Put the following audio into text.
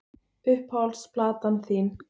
Uppáhalds platan þín?